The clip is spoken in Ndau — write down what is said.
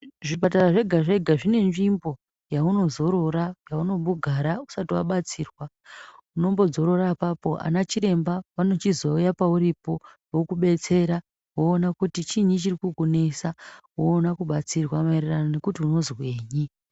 Zvipatara zvega zvega zvine nzvimbo yauno zorora yauno mbogara usati wabatsirwa unombo dzorora apapo ana chiremba vano chizo uya pauri po voku betsera voona kuti chiinyi chiri kuku nesa woona kubatsirwa maererano nekuti unozwenyi.